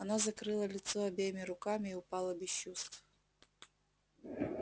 она закрыла лицо обеими руками и упала без чувств